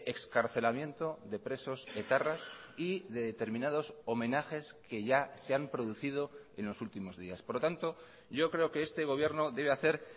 excarcelamiento de presos etarras y de determinados homenajes que ya se han producido en los últimos días por lo tanto yo creo que este gobierno debe hacer